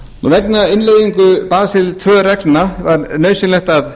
vegna innleiðingu basel tvö reglna var nauðsynlegt að